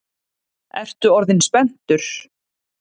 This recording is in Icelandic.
Ertu orðinn spenntur?